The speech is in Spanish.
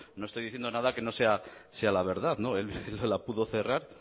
no estoy diciendo nada que no sea la verdad zapatero la pudo cerrar